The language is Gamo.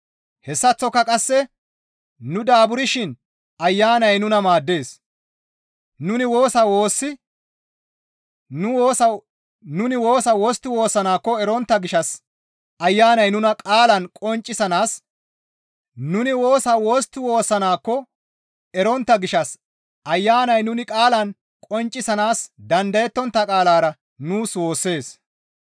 Hessaththoka qasse nu daaburshin Ayanay nuna maaddees; nuni woosa wostti woossanaakko erontta gishshas Ayanay nuni qaalan qonccisanaas dandayettontta qaalara nuus woossees.